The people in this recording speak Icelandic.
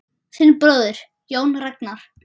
Þinn bróðir, Jón Ragnar.